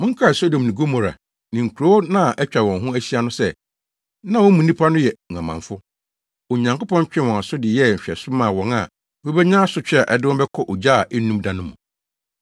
Monkae Sodom ne Gomora ne nkurow a na atwa wɔn ho ahyia no sɛ, na mu nnipa no yɛ nguamanfo. Onyankopɔn twee wɔn aso de yɛɛ nhwɛso maa wɔn a wobenya asotwe a ɛde wɔn bɛkɔ ogya a ennum da no mu.